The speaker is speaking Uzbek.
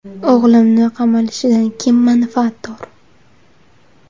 O‘g‘limni qamalishidan kim manfaatdor?”